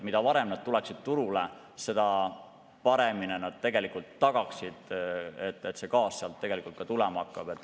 Mida varem need saaksid turule teatavaks, seda paremini oleks tegelikult tagatud, et see gaas sealt tulema hakkab.